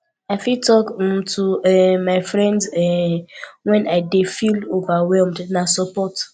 i fit talk um to um my friends um when i dey feel overwhelmed na support